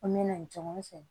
An mɛna ɲɔgɔn fɛ